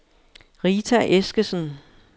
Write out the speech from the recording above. Rita Eskesen